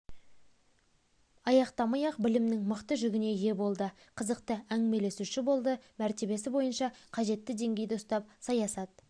аяқтамай-ақ білімнің мықты жүгіне ие болды қызықты әңгімелесуші болды мәртебесі бойынша қажетті деңгейді ұстап саясат